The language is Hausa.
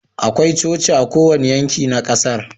Akwai Coci a kowane yanki na kasar